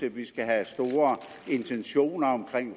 at vi skal have store intentioner om